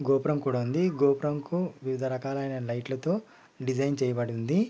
గోపురం కూడా ఉంది ఈ గోపురానికి వివిధ రకాల లైట్లతో డిజైన్ చేయబడి ఉంది